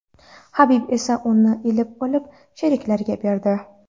Habib esa uni ilib olib sheriklariga berdi.